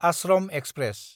Ashram express